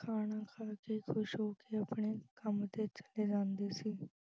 ਖਾਣਾ ਖਾ ਕੇ ਖੁਸ਼ ਹੋ ਕੇ ਆਪਣੇ ਕੰਮ ਤੇ ਚਲੇ ਜਾਂਦੇ ਸੀ।